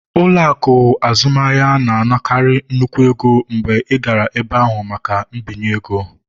Ụlọ akụ azụmaahịa na-anakarị nnukwu ego mgbe ị gara ebe ahụ maka mbinye ego